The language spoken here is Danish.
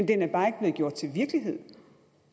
den er bare ikke blevet gjort til virkelighed